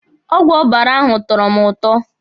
Ọgwụ ọbara ahụ tọrọ mụ ụtọ.